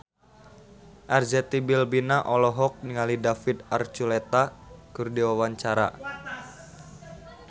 Arzetti Bilbina olohok ningali David Archuletta keur diwawancara